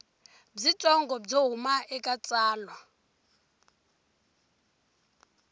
byitsongo byo huma eka tsalwa